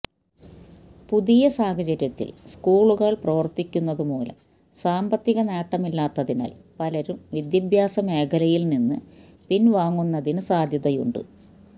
പുതിയ സാഹചര്യത്തിൽ സ്കൂളുകൾ പ്രവർത്തിപ്പിക്കുന്നതു മൂലം സാമ്പത്തിക നേട്ടമില്ലാത്തതിനാൽ പലരും വിദ്യാഭ്യാസ മേഖലയിൽ നിന്ന് പിൻവാങ്ങുന്നതിന് സാധ്യതയുണ്ട്